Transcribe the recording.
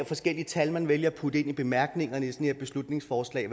forskellige tal man vælger at putte ind i bemærkningerne til sådan et beslutningsforslag